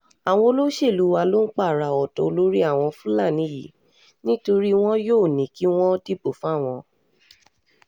àwọn olóṣèlú wa ló ń pààrà ọ̀dọ́ olórí àwọn fúlàní yìí nítorí wọn yóò ní kí wọ́n dìbò fáwọn